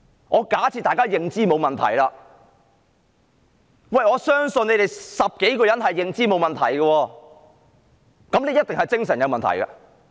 我假設他們的認知沒有問題，我相信他們10多人的認知是沒有問題的，那麼，他一定是精神有問題。